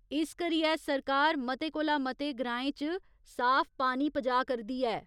इस करियै सरकार मते कोला मते ग्राएं च साफ पानी पजाऽ करदी ऐ।